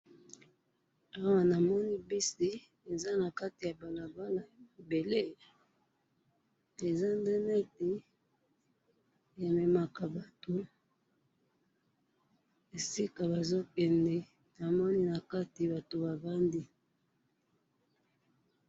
Awa namoni bisi eza nakati ya balabala ya mabele eza nde neti ememaka esika bazokende namoni nakati batu bavandi.